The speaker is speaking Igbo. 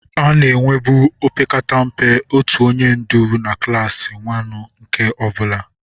A na-enwebu opekata mpe otu onye ndu na klaasị waanu nke ọ bụla.